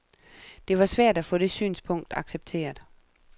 Det var svært at få det synspunkt accepteret.